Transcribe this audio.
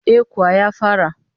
Eh kuwa ya fara